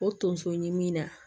O tonso ɲimi na